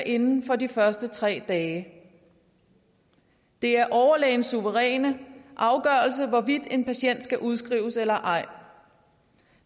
inden for de første tre dage det er overlægens suveræne afgørelse hvorvidt en patient skal udskrives eller ej